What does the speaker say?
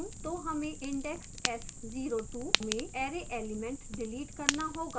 तो हमें index s02 में array element डिलीट करना होगा